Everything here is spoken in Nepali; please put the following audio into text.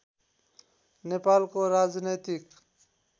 नेपालको राजनैतिक